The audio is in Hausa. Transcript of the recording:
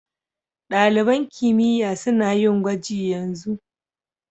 Dalibain kimiyya suna yin gwaji yanzu.